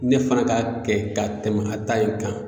Ne fana ka kɛ ka tɛmɛ a ta in kan